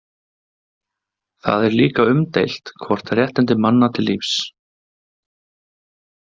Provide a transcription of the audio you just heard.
Það er líka umdeilt hvort réttindi manna til lífs.